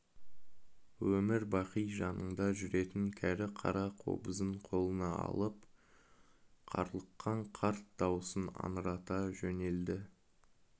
өмір-бақи жанында жүретін кәрі қара қобызын қолына алып қарлыққан қарт даусын аңырата жөнелді